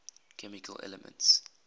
chemical elements